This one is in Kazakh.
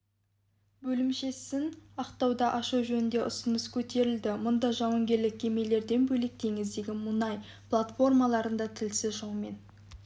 бөлімшесін ақтауда ашу жөнінде ұсыныс көтерілді мұнда жауынгерлік кемелерден бөлек теңіздегі мұнай платформаларында тілсіз жаумен